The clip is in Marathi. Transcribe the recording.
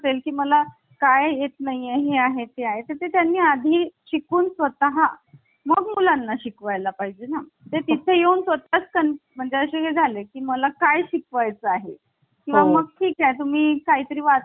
असेल की मला काय येत नाही हे आहे ते आहे. त्यांनी आधी शिकून स्वतः मग मुलांना शिकवाय ला पाहिजे ना ते तिथे येऊन तो तच. पण म्हणजे असं झालं की मला काय शिकवाय चं आहे किंवा मग ठीक आहे तुम्ही काहीतरी वाचायला